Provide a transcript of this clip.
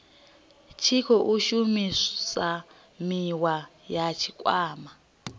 tshi khou shumisaniwa na tshikwama